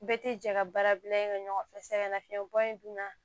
Bɛɛ tɛ jɛ ka baara bila ɲɔgɔn fɛ sɛgɛn nafiyɛn bɔ in dun na